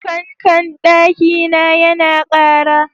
Fankan ɗaki na ya na ƙara